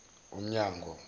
umnyango